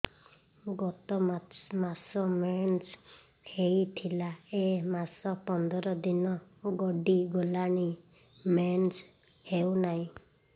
ଗତ ମାସ ମେନ୍ସ ହେଇଥିଲା ଏ ମାସ ପନ୍ଦର ଦିନ ଗଡିଗଲାଣି ମେନ୍ସ ହେଉନାହିଁ